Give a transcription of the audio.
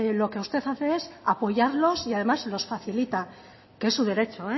lo que usted hace es apoyarlos y además los facilita que es su derecho